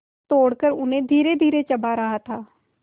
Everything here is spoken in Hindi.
तोड़कर उन्हें धीरेधीरे चबा रहा था